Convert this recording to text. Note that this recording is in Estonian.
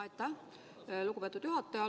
Aitäh, lugupeetud juhataja!